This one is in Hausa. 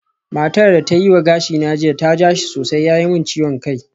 Matar da ta yi wa gashina jiya ta ja shi sosai ya yi min ciwon kai